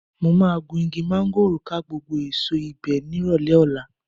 Mo máa gun igi máńgòrò ká gbogbo èso ibẹ̀ nírọ̀lẹ́ ọ̀la